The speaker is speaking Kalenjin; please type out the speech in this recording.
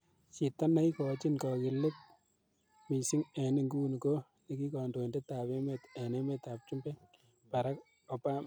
Chito neikochin kogilge missing en inguni ko nekikondoindetab emet en emetab chumbek Barack Obama.